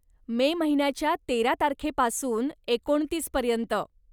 मे महिन्याच्या तेरा तारखेपासून एकोणतीस पर्यंत.